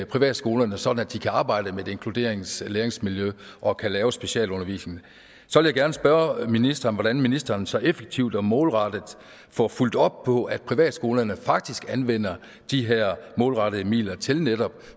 privatskolerne sådan at de kan arbejde med et inkluderingslæringsmiljø og kan lave specialundervisning så vil jeg gerne spørge ministeren hvordan ministeren så effektivt og målrettet får fulgt op på at privatskolerne faktisk anvender de her målrettede midler til netop